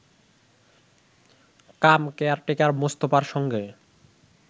কাম caretaker মোস্তফার সঙ্গে